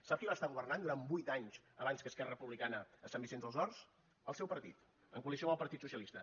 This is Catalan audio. sap qui va estar governant durant vuit anys abans que esquerra republicana a sant vicenç dels horts el seu partit en coalició amb el partit socialista